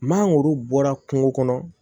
Mangoro bɔra kungo kɔnɔ